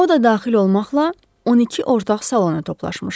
O da daxil olmaqla, 12 ortaq salona toplaşmışdı.